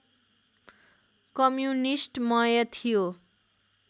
कम्युनिस्टमय थियो